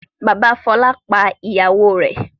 Bàbá Fọlá pa ìyàwó rẹ̀.